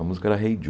A música era Hey Joe.